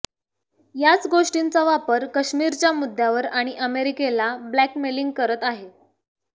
याच गोष्टींचा वापर काश्मीरच्या मुद्द्यावर आणि अमेरिकेला ब्लॅकमेलिंग करत आहे